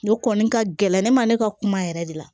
O kɔni ka gɛlɛn ne ma ne ka kuma yɛrɛ de la